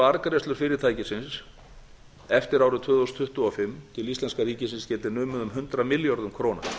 arðgreiðslur fyrirtækisins eftir árið tvö þúsund tuttugu og fimm til íslenska ríkisins geti numið um hundrað milljörðum króna